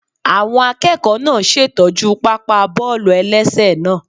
Àwọn akẹ́kọ̀ọ́ náà ṣè tọ́jú pápá bọ́ọ̀lù-ẹlẹ́sẹ̀ náà